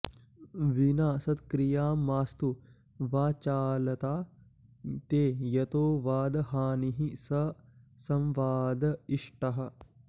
विना सत्क्रियां मास्तु वाचालता ते यतो वादहानिः स संवाद इष्टः